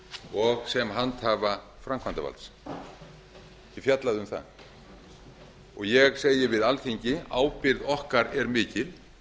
og sem handhafa framkvæmdarvaldsins ég fjallaði um það og ég segi við alþingi ábyrgð okkar er mikil